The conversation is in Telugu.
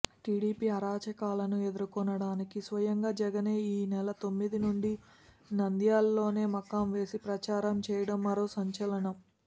టీడీపీ అరాచకాలను ఎదుర్కోవడానికి స్వయంగా జగనే ఈ నెల తొమ్మిది నుంచి నంద్యాలలోనే మకాంవేసి ప్రచారం చేయడం మరో సంచలనం